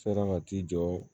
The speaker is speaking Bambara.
Sera ka t'i jɔ